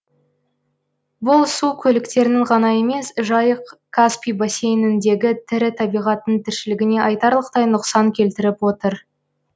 бұл су көліктерінің ғана емес жайық каспий бассейніндегі тірі табиғаттың тіршілігіне айтарлықтай нұқсан келтіріп отыр